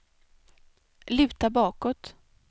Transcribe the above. luta bakåt